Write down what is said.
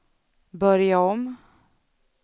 börja om